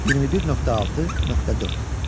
21.6.4.